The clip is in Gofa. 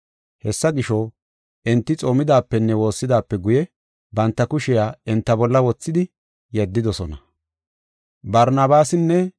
Hessa gisho, enti xoomidaapenne woossidaape guye banta kushiya enta bolla wothidi yeddidosona.